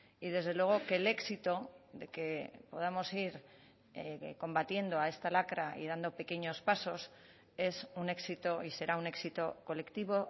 y desde luego que el éxito de que podamos ir combatiendo a esta lacra y dando pequeños pasos es un éxito y será un éxito colectivo